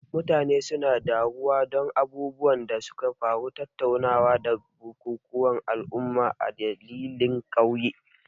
Mutane suna taruwa don abubuwan da suka faru, tattaunawa, da bukukuwan al'umma a dandalin ƙauye.